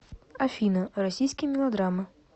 афина российские мелодраммы